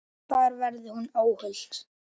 Þar verði hún óhult.